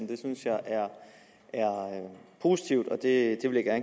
det synes jeg er positivt og det det vil jeg